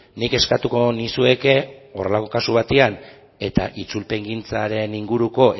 nik eskatuko nizueke horrelako kasu batean eta itzulpengintzaren inguruko